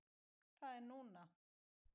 Það er núna!